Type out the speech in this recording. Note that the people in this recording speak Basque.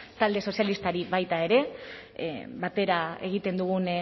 talde sozialistari baita ere batera egiten dugun